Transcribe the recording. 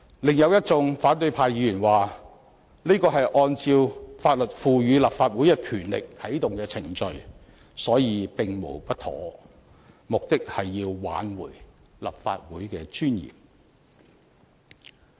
另有一眾反對派議員說，這是按照法律賦予立法會的權力而啟動的程序，所以並無不妥，目的是要挽回立法會的尊嚴。